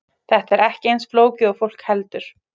Þetta er ekki eins flókið og fólk heldur.